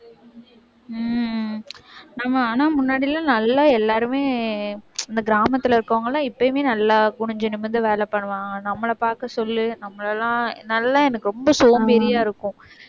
உம் உம் ஆமா, ஆனா முன்னாடி எல்லாம் நல்லா எல்லாருமே இந்த கிராமத்துல இருக்கறவங்கெல்லாம் எப்பயுமே நல்லா குனிஞ்சு நிமிர்ந்து வேலை பண்ணுவாங்க. நம்மளை பாக்க சொல்லு நம்மளை எல்லாம் நல்லா எனக்கு ரொம்ப சோம்பேறியா இருக்கும்